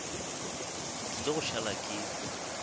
ke tlile go šala ke